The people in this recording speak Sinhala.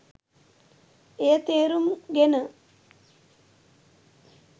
එය තේරුම් ගෙන